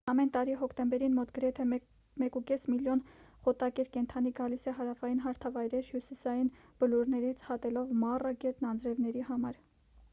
ամեն տարի հոկտեմբերին մոտ գրեթե 1.5 միլիոն խոտակեր կենդանի գալիս է հարավային հարթավայրեր հյուսիսային բլուրներից հատելով մառա գետն անձրևների համար